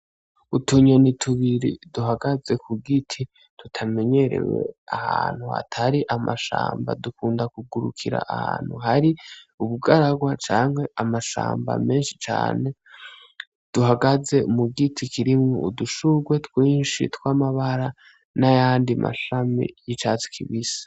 Utunyoni tubiri duhagaze ku giti tutamenyerewe ahantu hatari amashamba dukunda kugurukira ahantu hari ubugaragwa canke amashamba menshi cane duhagaze mu giti kirimwo udushurwe twinshi tw'amabara n'ayandi mashami yicatsi kibisi.